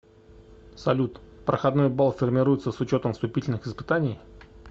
салют проходной бал формируется с учетом вступительных испытаний